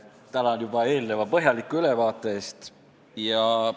Tänan eelneva põhjaliku ülevaate eest!